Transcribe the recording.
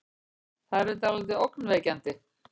Þær eru dáldið ógnvekjandi.